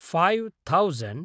five thousand